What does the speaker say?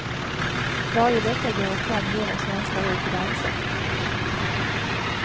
Varje vecka går ett par miljoner svenskar ut och dansar.